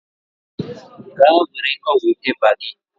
Gaa were ọgwụ ịba gị.